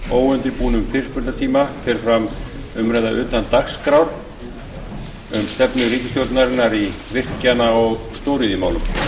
óundirbúnum fyrirspurnatíma fer fram umræða utan dagskrár um stefnu ríkisstjórnarinnar í virkjana og stóriðjumálum